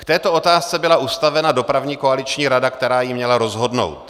K této otázce byla ustavena dopravní koaliční rada, která ji měla rozhodnout.